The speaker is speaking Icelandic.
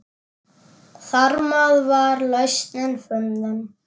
Þarmeð var lausnin fundin.